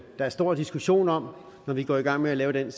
der er stor diskussion om når vi går i gang med at lave den